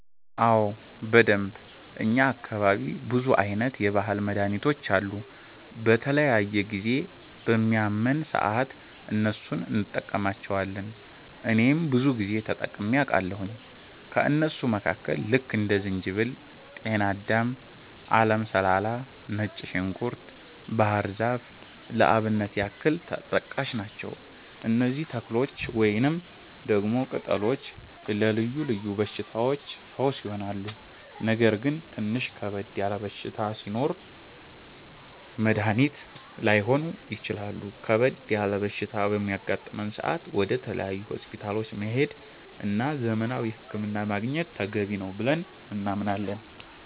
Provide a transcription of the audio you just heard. አዎ በደንብ፣ እኛ አካባቢ ብዙ አይነት የባህል መድሀኒቶች አሉ። በተለያየ ጊዜ በሚያመን ሰአት እነሱን እንቀማለቸዋለን እኔም ብዙ ጊዜ ተጠቅሜ አቃለሁኝ። ከእነሱም መካከል ልክ እንደ ዝንጅበል፣ ጤናዳም፣ አለም ሰላላ፣ ነጭ ዝንኩርት፣ ባህር ዛፍ ለአብነት ያክል ተጠቃሽ ናቸው። እነዚህ ተክሎች ወይንም ደግሞ ቅጠሎች ለልዮ ልዮ በሽታዎች ፈውስ ይሆናሉ። ነገር ግን ትንሽ ከበድ ያለ በሽታ ሲኖር መድኒት ላይሆኑ ይችላሉ ከበድ ያለ በሽታ በሚያጋጥም ሰአት ወደ ተለያዩ ሆስፒታሎች መሄድ እና ዘመናዊ ህክምና ማግኘት ተገቢ ነው ብለን እናምናለን።